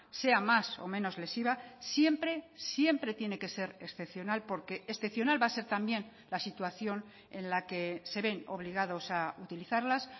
sea más o menos lesiva siempre siempre tiene que ser excepcional porque excepcional va a ser también la situación en la que se ven obligados a utilizarlas